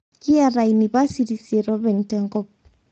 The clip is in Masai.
Kiyata inipasitini isiet apeny tenkop